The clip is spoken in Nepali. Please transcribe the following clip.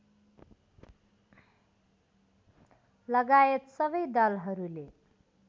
लगायत सबै दलहरूले